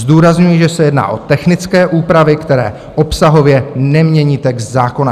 Zdůrazňuji, že se jedná o technické úpravy, které obsahově nemění text zákona.